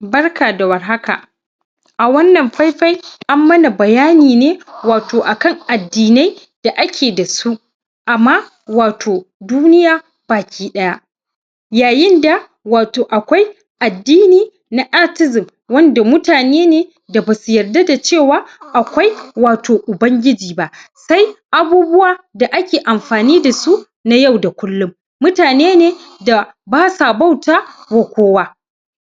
da war haka Barka awannan faifai an mana bayani wato akan addinai da ake da su wato duniya baki ɗaya yayin baki daya yayinda wato akwai addini na atheism wanda mutane ne da basu yarda da cewa akwai wato Ubangiji ba sai abubuwa da ake anfani da su na yau da kullum mutane ne sa basa bauta wa kowa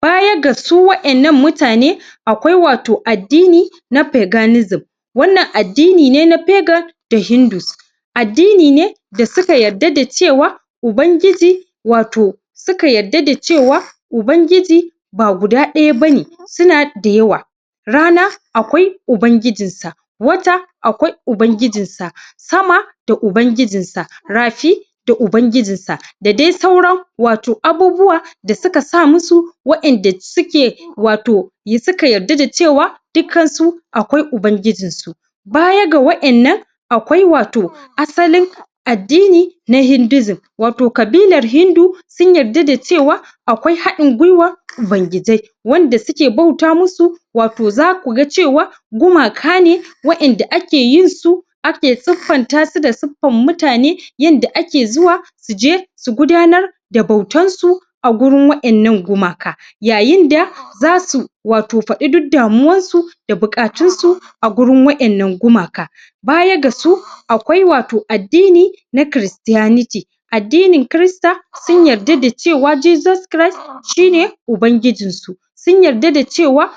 baya ga su Waƴannan mutane akwai wato addini na peganism wannan addini ne na pegan da hindus Addini ne da suka yadda da cewa Ubangiji wato suka yadda da c ubangiji ba guda ɗaya bane suna da yawa rana akwai Ubangijiin sa wata akwai ubangijin sa sama da Ubangijin sa rafi da ubangijin sa da dai sauran wato abubuwa da suka sa musu waɗan da suka wato da suka yarda da su cewa dukkan su baya ga waɗan nan akwai wato asali addini na hinduism wato kabilar himdu sun yarda da cewa akwai haɗin gwiwan ubangijai wanda suke bauta musu wato zaku ga cewa gumaka ne wayanda ake yin su ake siffanta su da suffan mutane yadda ake zuwa suje su gudanar da bautan su agurin Waɗannan gumaka yayin da za su faɗi duk damuwan su da bukatun su a gurin Waƴannan gumaka baya ga su akwai wato addini na chris tianity addinin christa sun yarda da cewa Jesus christ shi ne Ubangijiin su sun sun yarda da cewa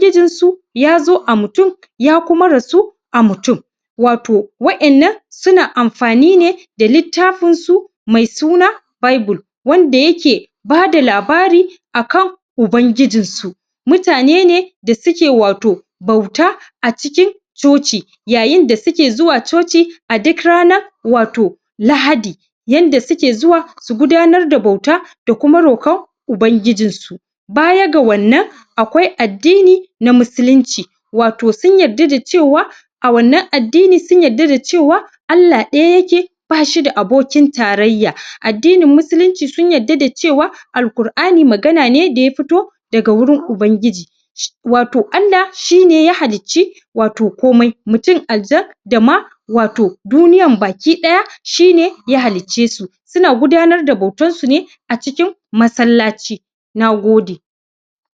jesus chtist ya zo a mutune ya kuma rasu a mutune waro Waƴannan suna anfani ne da littafin su mai suna bible wanda yake bada labari a kan ubangijin su mutane ne da suke wato bauta acikin coci yayin da suke zuwa coci a duk ranan wato lahadi yanda suke zuwa su gudanar da bauta da kuma rokon ubangijin su baya ga wannan akwai addini na musulunci wato sun yarda da cewa a wannan addini sun yarda da cewa ALLAH ɗaya yake ba shi da abokin tarayya addinin Musulunci su yarda da cewa Al' Kur' Kur'ani magana ne daya fito daga wuin ubangiji wato ALLAH shi ne ya halli ci wato komai mutun, aljan dama wato duniyan ba ki daya shi ne ya hallice su suna gudanar da bautar su ne acikin masllaci Nagode